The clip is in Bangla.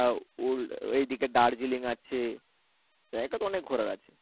আহ এইদিকে দার্জিলিং আছে জায়গা তো অনেক ঘোরার আছে